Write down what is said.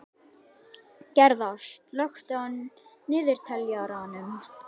Gerða, slökktu á niðurteljaranum.